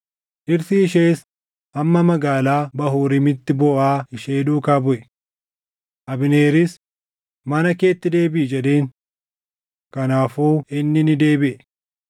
Dhirsi ishees hamma magaalaa Bahuuriimitti booʼaa ishee duukaa buʼe. Abneeris, “Mana keetti deebiʼi!” jedheen. Kanaafuu inni ni deebiʼe.